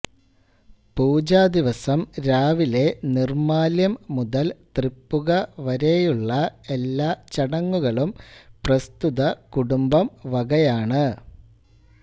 പൂജാദിവസം രാവിലെ നിർമ്മാല്യം മുതൽ തൃപ്പുക വരെയുള്ള എല്ലാ ചടങ്ങുകളും പ്രസ്തുത കുടുംബം വകയാണ്